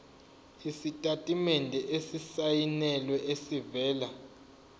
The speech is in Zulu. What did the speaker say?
isitatimende esisayinelwe esivela